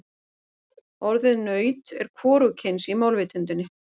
Orðið naut er hvorugkyns í málvitundinni.